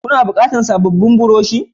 Kana bukatan sabobin buroshi?